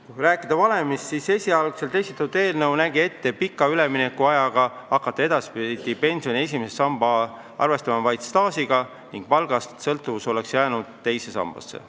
Kui rääkida valemist, siis esialgu esitatud eelnõu nägi ette hakata pika üleminekuajaga arvestama edaspidi pensioni esimeses sambas vaid staaži ning sõltuvus palgast oleks jäänud teise sambasse.